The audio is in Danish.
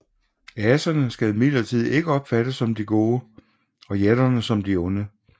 Aserne skal imidlertid ikke opfattes som de gode og jætterne som de onde